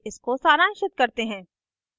इसको सारांशित करते हैं